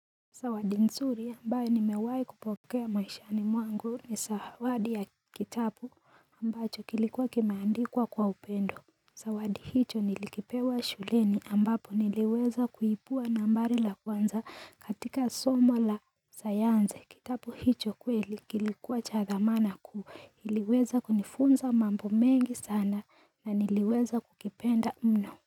Zawadi nzuri ambayo nimewahi kupokea maishani mwangu ni zawadi ya kitabu ambacho kilikuwa kimeandikwa kwa upendo zawadi hicho nilikipewa shuleni ambapo niliweza kuibua nambari la kwanza katika somo la sayansi kitabu hicho kweli kilikuwa cha thamana kuu iliweza kunifunza mambo mengi sana na niliweza kukipenda mno.